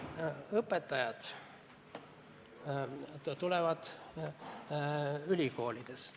Õpetajad tulevad ülikoolidest.